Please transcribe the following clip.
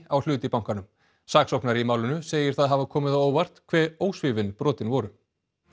á hlut í bankanum saksóknari í málinu segir það hafa komið á óvart hve ósvífin brotin voru